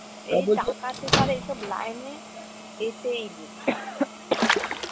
এই টাকা টুকার line এ যেতেই নেই।